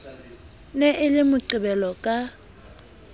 ne e le moqebelo ka